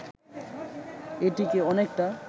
এটিকে অনেকটা